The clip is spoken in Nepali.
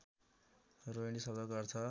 रोहिणी शब्दको अर्थ